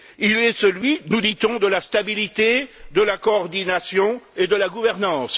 Il est celui, nous dit on, de la stabilité, de la coordination et de la gouvernance.